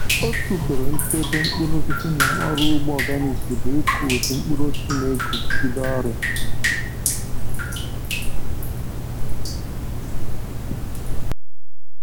Otu usoro nchebe mkpụrụosisi na ọrụ ugbo organic bụ ịkụ ụdị mkpụrụosisi na-eguzogide ọrịa.